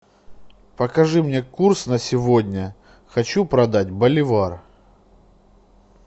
покажи мне курс на сегодня хочу продать боливар